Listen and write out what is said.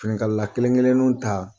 Finikalala kelen kelennu ta